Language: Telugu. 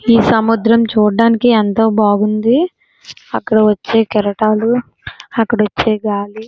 ఈ సముద్రం చూడ్డానికి ఎంతో బాగుంది అక్కడికి వచ్చే కెరటాలు అక్కడికి వచ్చే గాలి --